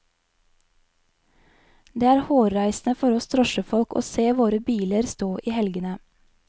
Det er hårreisende for oss drosjefolk å se våre biler stå i helgene.